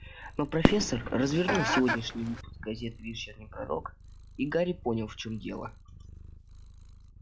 но профессор развернул сегодняшний выпуск газеты вечерний пророк и гарри понял в чём дело